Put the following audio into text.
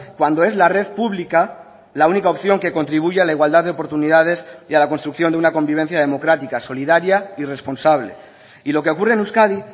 cuando es la red pública la única opción que contribuye a la igualdad de oportunidades y a la construcción de una convivencia democrática solidaria y responsable y lo que ocurre en euskadi